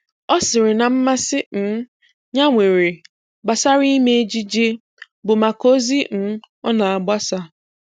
Ọ sịrị na mmasị um ya nwere gbasara ime ejije bụ maka ozi um ọ na-agbasa